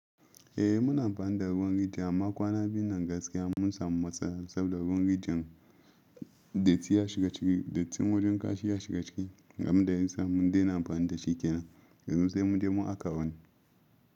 Eh muna amfani da ruwan rijiya amma kwana biyun nan gaskiya mun samu matsala saboda ruwan rijiyan datti ya shiga ciki, dattin wurin kashi ya shiga ciki, ga abun da ya sa mun de na amfani da shi kenan. Yanzu sai mu je mu haƙa wani.